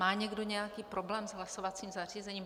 Má někdo nějaký problém s hlasovacím zařízením?